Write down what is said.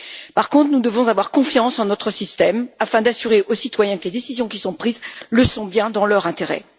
Par contre, nous devons avoir confiance en notre système afin d'assurer aux citoyens que les décisions qui sont prises, le sont bien dans leurs intérêts.